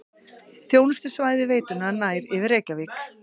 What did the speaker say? Þjónustusvæði veitunnar nær yfir Reykjavík